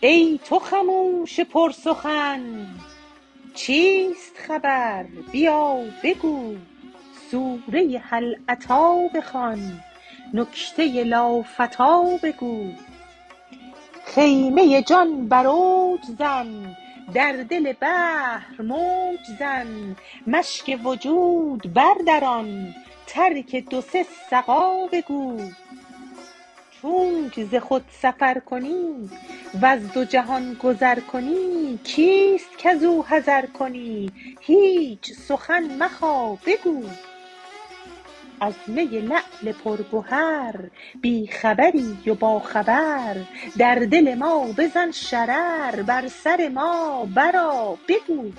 ای تو خموش پرسخن چیست خبر بیا بگو سوره هل اتی بخوان نکته لافتی بگو خیمه جان بر اوج زن در دل بحر موج زن مشک وجود بردران ترک دو سه سقا بگو چونک ز خود سفر کنی وز دو جهان گذر کنی کیست کز او حذر کنی هیچ سخن مخا بگو از می لعل پرگهر بی خبری و باخبر در دل ما بزن شرر بر سر ما برآ بگو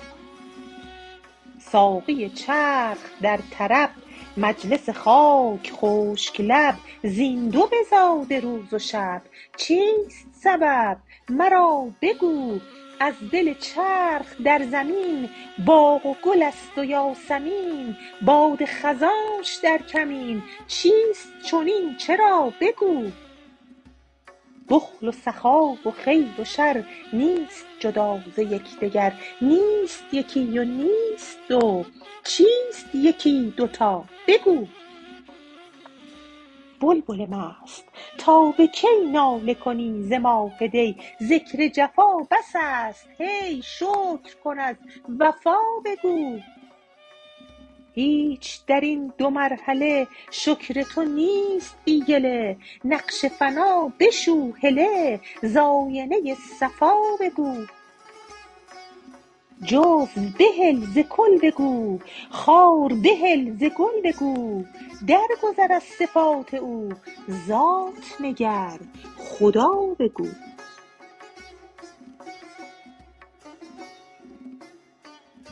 ساقی چرخ در طرب مجلس خاک خشک لب زین دو بزاده روز و شب چیست سبب مرا بگو از دل چرخ در زمین باغ و گل است و یاسمین باد خزانش در کمین چیست چنین چرا بگو بخل و سخا و خیر و شر نیست جدا ز یک دگر نیست یکی و نیست دو چیست یکی دو تا بگو بلبل مست تا به کی ناله کنی ز ماه دی ذکر جفا بس است هی شکر کن از وفا بگو هیچ در این دو مرحله شکر تو نیست بی گله نقش فنا بشو هله ز آینه صفا بگو جزو بهل ز کل بگو خار بهل ز گل بگو درگذر از صفات او ذات نگر خدا بگو